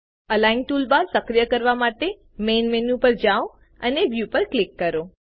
align toolbar સક્રિય કરવા માટે મેઇન મેનું પર જાઓ અને વ્યૂ પર ક્લિક કરો